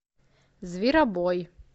зверобой